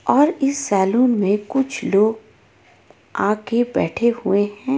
और इस सेलून मे कुछ लोग आगे बैठे हुए हे.